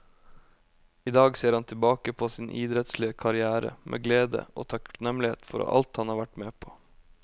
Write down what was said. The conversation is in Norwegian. I dag ser han tilbake på sin idrettslige karrière med glede og takknemlighet for alt han har vært med på.